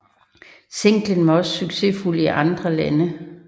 Singlen var også succesfuld i andre lande